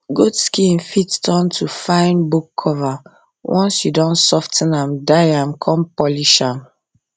goat skin fit turn to fine book cover once you don sof ten am dye am come polish am